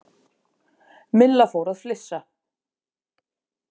Milla fór að flissa.